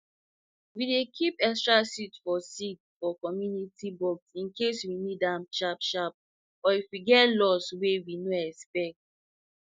we dey keep extra seed for seed for community box incase we need ahm sharp sharp or if we get loss wey we no expect